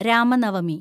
Ramanavami